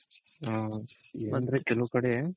ಹ ಅಂದ್ರೆ ಕೆಲವ್ ಕಡೆ